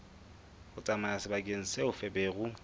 ho tsamaya sebakeng seo feberu